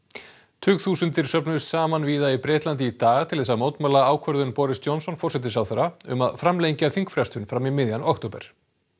tugþúsundir söfnuðust saman víða í Bretlandi í dag til þess að mótmæla ákvörðun Boris Johnson forsætisráðherra um að framlengja þingfrestun fram í miðjan október